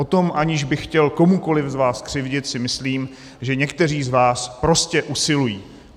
O to, aniž bych chtěl komukoliv z vás křivdit, si myslím, že někteří z vás prostě usilují.